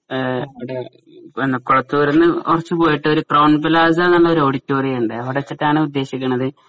ആ ഡാ ഈ കൊഴത്തുരുന്നു കുറച്ചു പോയിട്ട് ഒരു ക്രോൺ പ്ലാസ എന്നൊരു ഓഡിറ്റോറിയം ഉണ്ട് അവിടെ വെച്ചിട്ടാണ് ഉദ്ദേശിക്കണത്